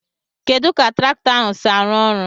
Kedu ka traktọ ahu si arụ ọrụ?